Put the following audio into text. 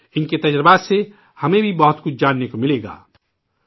انکے تجربات سے ہمیں بھی بہت کچھ جاننے کو ملےگا